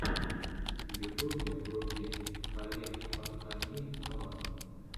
на ютубе вруби халех адхами нава